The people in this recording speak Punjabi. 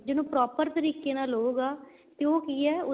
ਜ਼ੇ ਇਹਨੂੰ proper ਤਰੀਕ਼ੇ ਨਾਲ ਲਹੂਗਾ ਤੇ ਉਹ ਕੀ ਏ